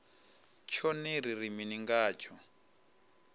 tshone ri ri mini ngatsho